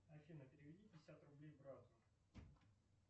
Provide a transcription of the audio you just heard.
афина переведи пятьдесят рублей брату